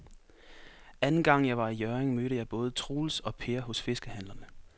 Anden gang jeg var i Hjørring, mødte jeg både Troels og Per hos fiskehandlerne.